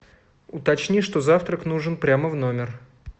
уточни что завтрак нужен прямо в номер